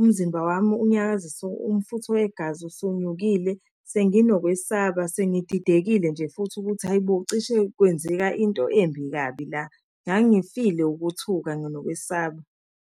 umzimba wami unyakazisa umfutho wegazi usunyukile, senginokwesaba, sengididekile nje futhi ukuthi hhayi bo, cishe kwenzeka into embi kabi la. Ngangifile ukuthuka nokwesaba.